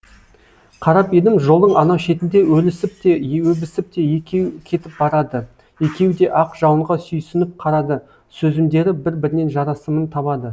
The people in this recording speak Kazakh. қарап едім жолдың анау шетінде өлісіп те өбісіп екеу кетіп барады екеуі де ақ жауынға сүйсініп қарады сөзімдері бір бірінен жарасымын табады